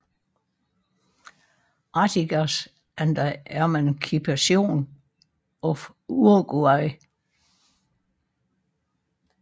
Artigas and the Emancipation of Uruguay